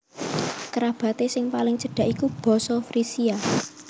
Kerabaté sing paling cedak iku basa Frisia